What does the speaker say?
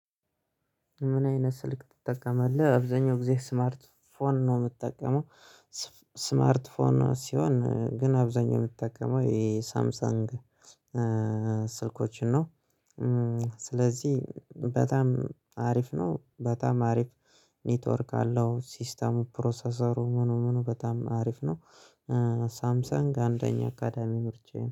ምን አይነት ስልክ ትጠቀማለህ? አብዛኛው ጊዜ ስማርት ፎን ነው የምጠቀመው። ስማርት ፎን ሲሆን ግን አብዛኛው የምትጠቀመው የሳምሳንግ ስልኮችን ነው። ስለዚህ በጣም አሪፍ ነው በጣም አሪፍ። ኔትወርክ አለው ሲስተሙ ፕሮሰሰሩ ምኑ ምኑ በጣም አሪፍ ነው። ሳምሰንግ አንደኛ አካዳሚ ምርጫዬ ነው